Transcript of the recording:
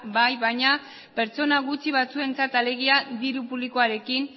bai baina pertsona gutxi batzuentzat alegia diru publikoarekin